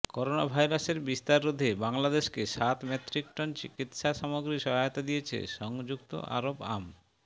করোনাভাইরাসের বিস্তার রোধে বাংলাদেশকে সাত মেট্রিক টন চিকিৎসা সামগ্রী সহায়তা দিয়েছে সংযুক্ত আরব আম